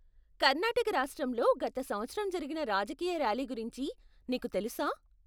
కర్నాటక రాష్ట్రంలో గత సంవత్సరం జరిగిన రాజకీయ ర్యాలీ గురించి నీకు తెలుసా?